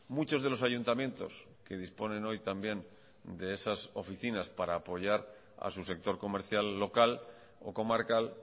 muchos de los ayuntamientos que disponen hoy también de esas oficinas para apoyar a su sector comercial local o comarcal